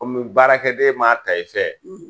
Kɔmi baarakɛden maa ta i fɛ